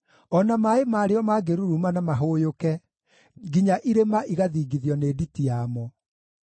o na maaĩ marĩo mangĩruruma na mahũyũke, nginya irĩma igathingithio nĩ nditi yamo.